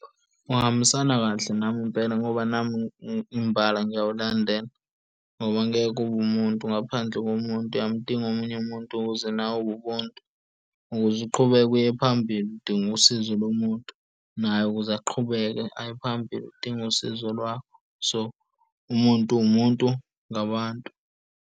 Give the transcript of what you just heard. Uhambisana kahle nami impela, ngoba nami imbala ngiyawulandela ngoba angeke ube umuntu ngaphandle komuntu uyamdinga omunye umuntu, ukuze nawe ubuntu, ukuze uqhubeke uye phambili udinga usizo lomuntu naye ukuze aqhubeke aye phambili udinga usizo lwakho. So, umuntu uwumuntu ngabantu.